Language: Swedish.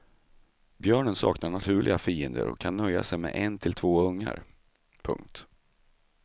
Björnen saknar naturliga fiender och kan nöja sig med en till två ungar. punkt